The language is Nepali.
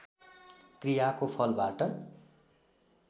क्रियाको फलबाट